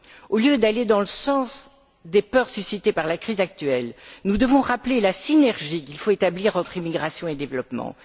Au lieu d'aller dans le sens des peurs suscitées par la crise actuelle, nous devons rappeler la synergie qu'il faut établir entre immigration et développement.